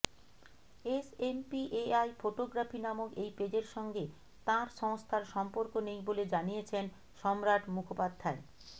SMPAI photography নামক এই পেজের সঙ্গে তাঁর সংস্থার সম্পর্ক নেই বলে জানিয়েছেন সম্রাট মুখোপাধ্যায়